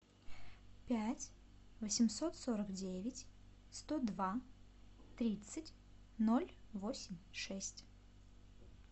пять восемьсот сорок девять сто два тридцать ноль восемь шесть